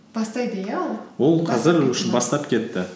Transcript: бастайды иә ол бастап кетті